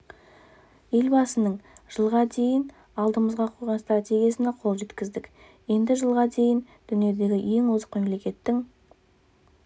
елбасының жылға дейін алдымызға қойған стратегиясына қол жеткіздік енді жылға дейін дүниедегі ең озық мемлекеттің